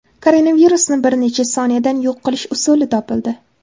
Koronavirusni bir necha soniyada yo‘q qilish usuli topildi.